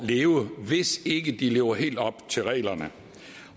leve hvis de ikke lever helt op til reglerne